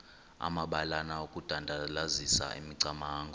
amabalana okudandalazisa imicamango